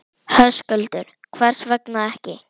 Höskuldur: Hvers vegna ekki?